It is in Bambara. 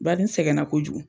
Bari n sɛgɛna kojugu.